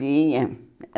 Tinha.